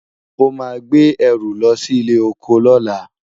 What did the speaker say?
o má gbé ẹrù lọsí ilé ọkọ lola